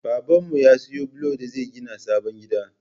Baban mu ya siyo bulon da zai gina sabon gida